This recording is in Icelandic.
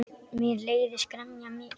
Mér leiðist gremja þín.